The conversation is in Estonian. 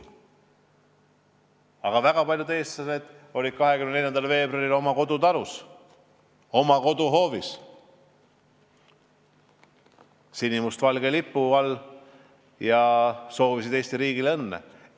Aga väga paljud eestlased on 24. veebruaril oma kodutalus, oma koduhoovis sinimustvalge lipu all ja soovivad Eesti riigile õnne.